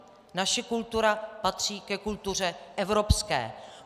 Naše kultura patří ke kultuře evropské.